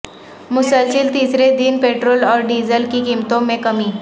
مسلسل تیسرے دن پٹرول اور ڈیزل کی قیمتوں میں کمی